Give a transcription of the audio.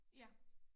Ja